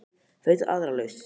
Finndu aðra lausn.